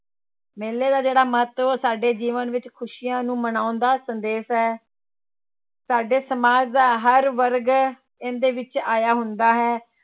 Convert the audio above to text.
ਮੇਲਾ ਦਾ ਜਿਹੜਾ ਮਹੱਤਵ ਉਹ ਸਾਡੇ ਜੀਵਨ ਵਿੱਚ ਖ਼ੁਸ਼ੀਆਂ ਨੂੰ ਮਨਾਉਣ ਦਾ ਸੰਦੇਸ਼ ਹੈ ਸਾਡੇ ਸਮਾਜ ਦਾ ਹਰ ਵਰਗ ਇਹਦੇ ਵਿੱਚ ਆਇਆ ਹੁੰਦਾ ਹੈ।